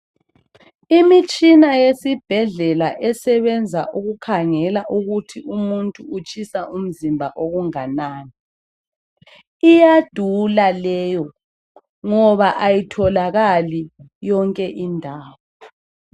Imitshina yesibhedlela esebenza ukukhangela ukuthi umuntu utshisa umzimba okunganani. Iyadula leyo ngoba ayitholakali yonke indawo.